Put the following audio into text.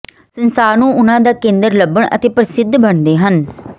ਸੰਸਾਰ ਨੂੰ ਉਨ੍ਹਾਂ ਦਾ ਕੇਂਦਰ ਲੱਭਣ ਅਤੇ ਪ੍ਰਸਿੱਧ ਬਣਦੇ ਹਨ